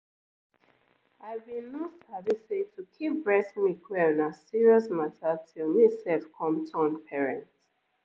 i bin no sabi say to keep breast milk well na serious mata till me sef come turn parent.